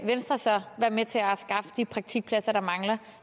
venstre så være med til at skaffe de praktikpladser der mangler